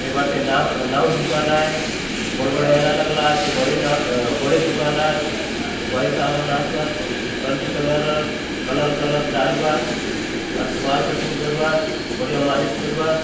ये बाटे नाउ नाउ दुकान आय बड़े - बड़े आयना लगला आचे बड़े ना अ बड़े दुकान आय भाई साहब मन आसुआत हरदी कलर र कलर ड़ालुआत बाल कटिंग करुआत बढ़िया मालिश करूआत।